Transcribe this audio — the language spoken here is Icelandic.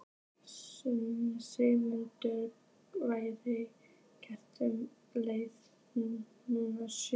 Sigmundur, hvenær kemur leið númer sjö?